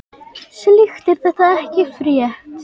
Slíkt er því ekki frétt.